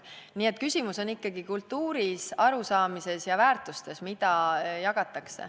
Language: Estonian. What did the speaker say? Nii et küsimus on ikkagi kultuuris, arusaamises ja väärtustes, mida jagatakse.